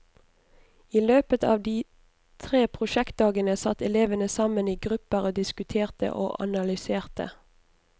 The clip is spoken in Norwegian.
I løpet av de tre prosjektdagene satt elevene sammen i grupper og diskuterte og analyserte.